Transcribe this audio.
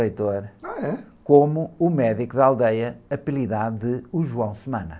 .h, é?Como o médico da aldeia apelidado de o João.